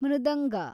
ಮೃದಂಗ